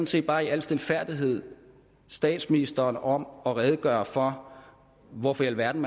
set bare i al stilfærdighed statsministeren om at redegøre for hvorfor i alverden